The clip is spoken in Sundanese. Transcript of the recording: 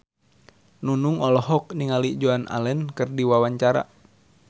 Nunung olohok ningali Joan Allen keur diwawancara